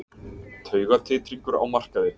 Taugatitringur á markaði